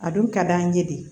A dun ka d'an ye de